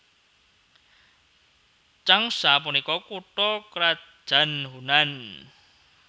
Changsha punika kutha krajan Hunan